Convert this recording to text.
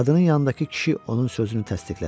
Qadının yanındakı kişi onun sözünü təsdiqlədi.